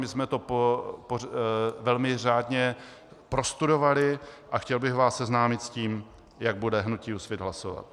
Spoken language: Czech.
My jsme to velmi řádně prostudovali a chtěl bych vás seznámit s tím, jak bude hnutí Úsvit hlasovat.